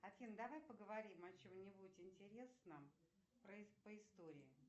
афина давай поговорим о чем нибудь интересном по истории